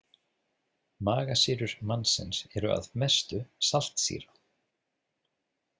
Magasýrur mannsins eru að mestu saltsýra.